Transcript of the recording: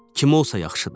Kim olsa, yaxşıdı.